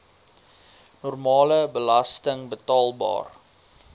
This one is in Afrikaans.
normale belasting betaalbaar